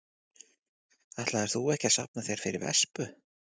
Ætlaðir þú ekki að safna þér fyrir vespu?